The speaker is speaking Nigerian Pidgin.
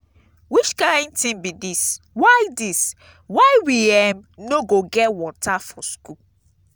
which kin thing be dis why dis why we um no go get water for school?